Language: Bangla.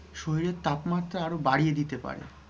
অতিরিক্ত পোশাক শরীরের তাপমাত্রা আরও বাড়িয়ে দিতে পারে।